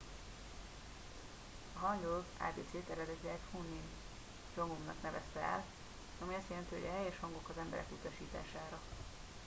a hangeul ábécét eredetileg hunmin jeongeum nak nevezte el ami azt jelenti hogy a helyes hangok az emberek utasítására